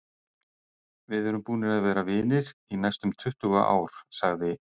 Við erum búnir að vera vinir í næstum tuttugu ár, sagði